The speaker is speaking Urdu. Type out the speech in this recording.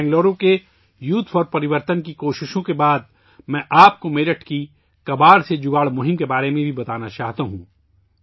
بنگلورو کے یوتھ فار پریورتن کی کوششوں کے بعد، میں آپ کو میرٹھ کی ' کباڑ سے جگاڑ ' مہم کے بارے میں بھی بتانا چاہتا ہوں